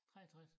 63